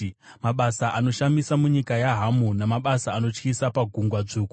mabasa anoshamisa munyika yaHamu namabasa anotyisa paGungwa Dzvuku.